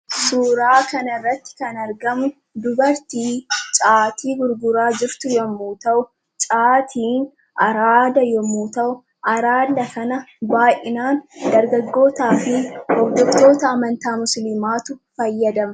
Suuraa kanarratti kan argamu dubartii caatii gurguraa jirtu yommuu ta'u, caatiin araada yommuu ta'u, araada kana baayyinaan dargaggootaafi hordoftoota amantaa musliimaatu fayyadama.